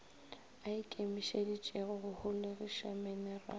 a ikemišeditšego go holegiša menerale